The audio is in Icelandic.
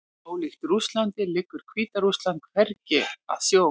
Ólíkt Rússlandi liggur Hvíta-Rússland hvergi að sjó.